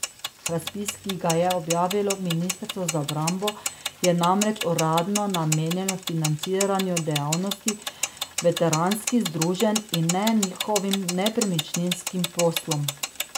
Razpis, ki ga je objavilo ministrstvo za obrambo, je namreč uradno namenjen financiranju dejavnosti veteranskih združenj in ne njihovim nepremičninskim poslom.